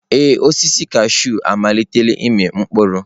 Ee, osisi kashụụ amalitela ịmị mkpụrụ.